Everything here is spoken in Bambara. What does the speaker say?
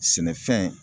Sɛnɛfɛn